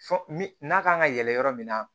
Fɔ n'a kan ka yɛlɛ yɔrɔ min na